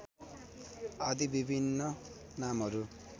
आदि विभिन्न नामहरू